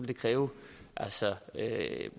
det kræve